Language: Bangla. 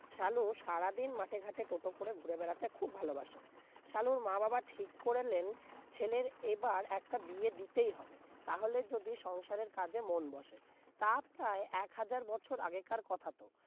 সালু সারাদিন মাঠে-ঘাটে টোটো করে ঘুরে বেড়াতে খুব ভালোবাসে শালুর মা-বাবা ঠিক করে নেন ছেলের এবার একটা বিয়ে দিতেই হবে তাহলে যদি সংসারের কাজে মন বসে, তা প্রায় এক হাজার বছর আগেকার কথা তো